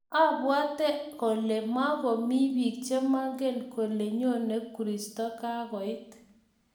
Abwate kole makomii biik che mangen kole nyone kristo kokakoit